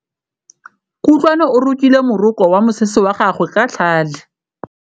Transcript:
Kutlwanô o rokile morokô wa mosese wa gagwe ka tlhale.